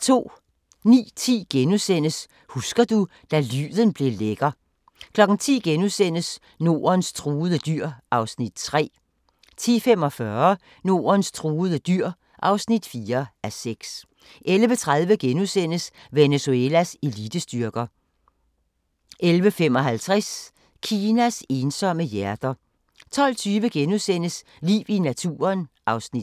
09:10: Husker du – da lyden blev lækker * 10:00: Nordens truede dyr (3:6)* 10:45: Nordens truede dyr (4:6) 11:30: Venezuelas elitestyrker * 11:55: Kinas ensomme hjerter 12:20: Liv i naturen (Afs. 3)*